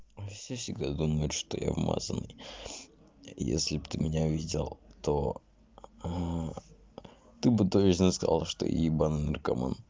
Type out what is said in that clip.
все всегда думают что я вмазаный если бы ты меня видел то ты бы точно сказал что я ебанный наркоман